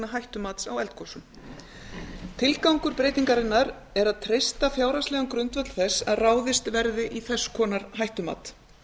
hættumats á eldgosum tilgangur breytingarinnar er að treysta fjárhagslegan grundvöll þess að ráðist verði í þess konar hættumat